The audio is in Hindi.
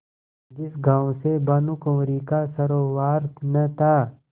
जिस गॉँव से भानुकुँवरि का सरोवार न था